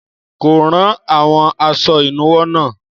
Kò ra àwọn aṣọ ìnuwọ́ náà.